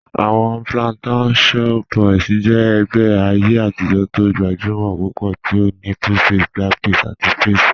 Awọn Plantashun Boys jẹ ẹgbẹ ayé atijọ̀ tó gbajúmọ̀ púpọ̀ tí ó ní 2face, Blackface àti Faze.